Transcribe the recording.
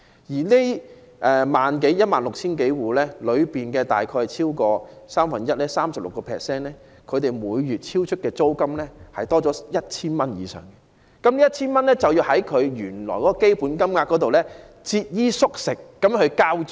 在這 16,000 多戶當中，有超過三分之一的受助人的租金，每月超出租金津貼 1,000 元以上，他們唯有節衣縮食，從原來的基本金額中騰出那 1,000 元來交租。